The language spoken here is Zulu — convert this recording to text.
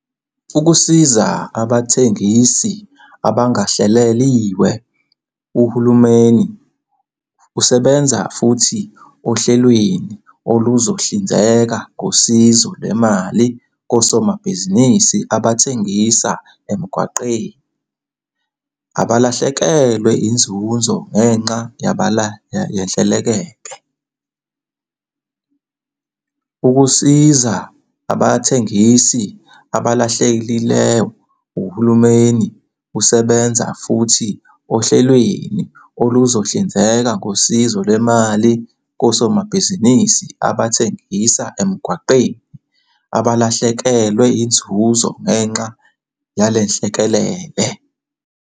Ukusiza Abathengisi Abangahleliwe Uhulumeni usebenza futhi ohlelweni oluzohlinzeka ngosizo lwemali kosomabhizinisi abathengisa emgwaqeni abalahlekelwe inzuzo ngenxa yalenhlekelele. Ukusiza Abathengisi Abangahleliwe Uhulumeni usebenza futhi ohlelweni oluzohlinzeka ngosizo lwemali kosomabhizinisi abathengisa emgwaqeni abalahlekelwe inzuzo ngenxa yalenhlekelele.